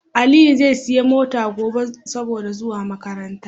Aliyi zai siya mota gobe saboda zuwa makaranta